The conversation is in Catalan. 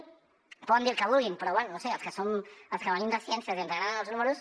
em poden dir el que vulguin però bé no ho sé els que venim de ciències i ens agraden els números